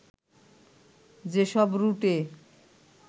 যেসব রুটে